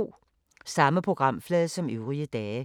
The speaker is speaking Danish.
Samme programflade som øvrige dage